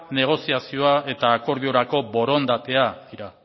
negoziazioa eta akordiorako borondatea dira